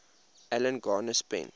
alan garner spent